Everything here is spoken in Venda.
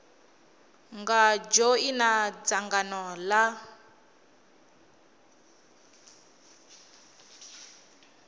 nga dzhoina dzangano l a